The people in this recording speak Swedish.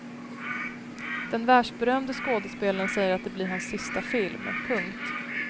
Den världsberömde skådespelaren säger att det blir hans sista film. punkt